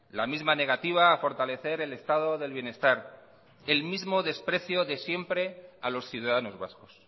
la misma negativa a fortalecer el estado del bienestar el mismo desprecio de siempre a los ciudadanos vascos